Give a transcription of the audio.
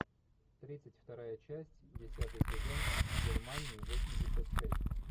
тридцать вторая часть десятый сезон германии восемьдесят шесть